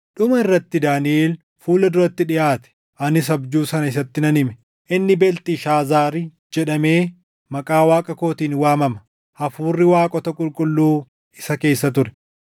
Dhuma irratti Daaniʼel fuula duratti dhiʼaate; anis abjuu sana isatti nan hime. Inni Beelxishaazaari jedhamee maqaa waaqa kootiin waamama; hafuurri waaqota qulqulluu isa keessa ture.